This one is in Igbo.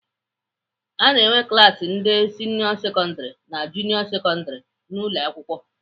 Ana enwe klaasị ndị sịnịọ sekọndrị na junịọ sekọndrị n'ụlọakwụkwọ.